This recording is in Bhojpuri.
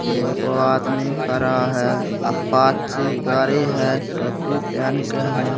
एगो आदमी खड़ा हेय अपाची गाड़ी हेय टोपी पहन के हेय।